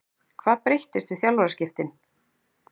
Hvað breyttist við þjálfaraskiptin?